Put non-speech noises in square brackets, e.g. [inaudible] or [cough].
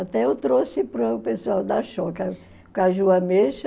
Até eu trouxe para o pessoal da [unintelligible] caju ameixa.